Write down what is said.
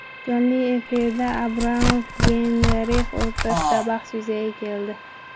Jonli efirda Abramov va Geynrix o‘rtasida bahs yuzaga keldi.